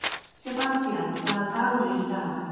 Sebastían, hvaða dagur er í dag?